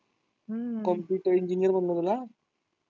Computer engineer तुला?